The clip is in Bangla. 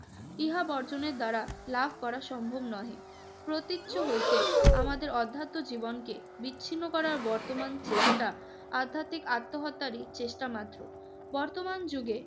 ইহা বর্জনের দ্বারা লাভ করা সম্ভব নহে। প্রতীচ্য হইতে আমাদের অধ্যাত্ম জীবনকে বিচ্ছিন্ন করার বর্তমান চেষ্টা আধ্যাত্মিক আত্মহত্যারই চেষ্টা মাত্র। বর্তমান যুগে